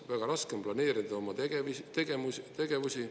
Väga raske on planeerida oma tegevusi.